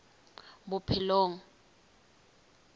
bophelong